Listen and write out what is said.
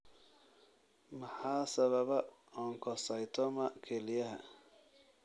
Maxaa sababa oncocytoma kelyaha?